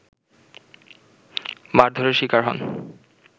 মারধরের শিকার হন